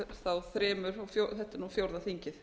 þremur og þetta er nú fjórða þingið